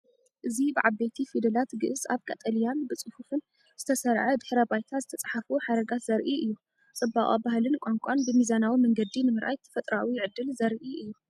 እዚ ብዓበይቲ ፊደላት ግዕዝ ኣብ ቀጠልያን ብጽፉፍን ዝተሰርዐ ድሕረ ባይታ ዝተጻሕፉ ሓረጋት ዘርኢ እዩ። ጽባቐ ባህልን ቋንቋን ብሚዛናዊ መንገዲ ንምርኣይ ተፈጥሮኣዊ ዕድል ዘርኢ እዩ።